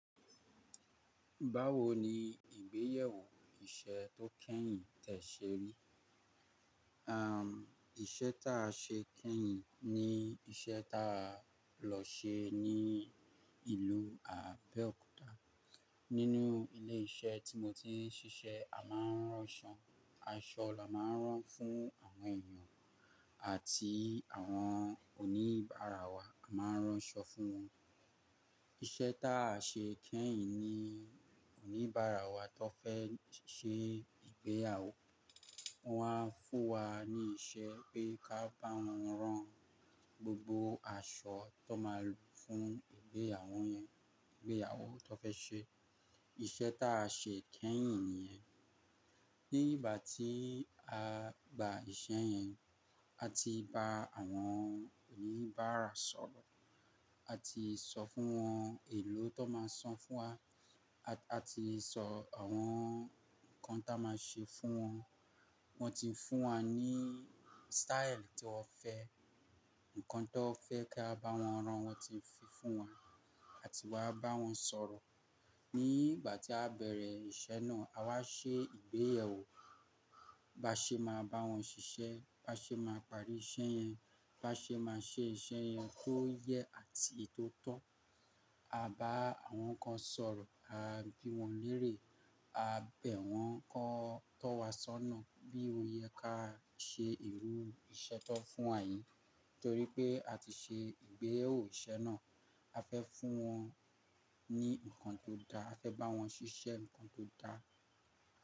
Báwo ni ìgbéyàwó iṣẹ́ tó kẹ́yìn tẹ ṣe rí? Am, iṣẹ́ tá a ṣe kẹ́yìn ni iṣẹ́ tá a lọ ṣe ní ìlú Abeokuta. Nínú ilé iṣẹ́ tí mo ti ń ṣiṣẹ́, a máa ń ránṣọ, aṣọ la máa ń rán fún àwọn èèyàn àti àwọn oníbàárà wa, a máa ń rán aṣọ fún wọn. Iṣẹ́ tá a ṣe kẹ́yìn ni oníbàárà wa tó fẹ́ ṣe ìgbéyàwó, wọ́n á fún wa ní ìṣe pé ká bá wọn rán gbogbo aṣọ tó máa lò fún ìgbéyàwó yẹn, ìgbéyàwó tó fẹ́ ṣe. Iṣẹ́ tá a ṣe kẹ́yìn nìyẹn. Ní ìgbà tí a gba iṣẹ́ yẹn, a ti ba àwọn oníbàárà sọ̀rọ̀, a ti sọ fún wọn èló tó máa san fún wa, a ti sọ àwọn ǹkan tá a máa ṣe fún wọn. Wọ́n ti ń fún wa ní staili tí wọ́n fẹ́, ǹkan tó fẹ́ kí a bá wọn rán wọ́n ti ń fi fún wa àti wá bá wọn sọ̀rọ̀. Ní ìgbà tí a bẹ̀rẹ̀ iṣẹ́ náà, a wá ṣe ìgbéyàwó. Bá ṣe máa bá wọn ṣiṣẹ́, bá ṣe máa parí iṣẹ́ yẹn, bá ṣe máa ṣe iṣẹ́ yẹn tó yẹ àti tó tọ́. A bá àwọn kan sọ̀rọ̀, a bí wọn lérè, a bẹ̀ wọ́n kó tó wá ṣọ́nà bí o yẹ ká ṣe ìrú iṣẹ́ tó fún àyè. Nítorí pé a ti ṣe ìgbéyàwó iṣẹ́ náà, a fẹ́ fún wọn ní ǹkan tó dá, a fẹ́ bá wọn ṣiṣẹ́ ǹkan tó dá.